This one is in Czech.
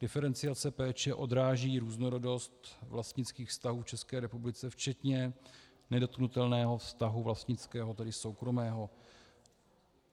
Diferenciace péče odráží různorodost vlastnických vztahů v České republice včetně nedotknutelného vztahu vlastnického, tedy soukromého.